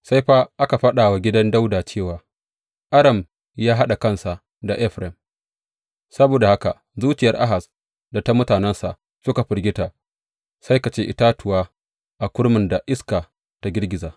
Sai fa aka faɗa wa gidan Dawuda cewa, Aram ya haɗa kansa da Efraim; saboda haka zuciyar Ahaz da ta mutanensa suka firgita, sai ka ce itatuwa a kurmin da iska ta girgiza.